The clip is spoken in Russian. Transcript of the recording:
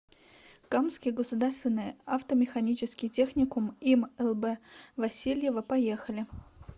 камский государственный автомеханический техникум им лб васильева поехали